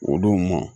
O don ma